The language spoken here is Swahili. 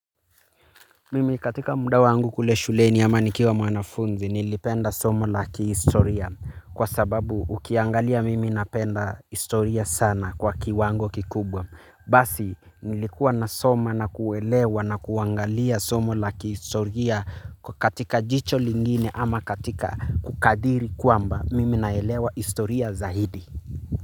Mimi katika muda wangu kule shuleni ama nikiwa mwanafunzi nilipenda somo la kihistoria kwa sababu ukiangalia mimi napenda historia sana kwa kiwango kikubwa. Basi nilikuwa nasoma nakuelewa na kuangalia somo la kihistoria katika jicho lingine ama katika kukadiri kwamba mimi naelewa historia zaidi.